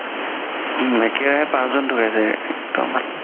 উম একে ৰাহে পাচ জন ধুকাইছে একদম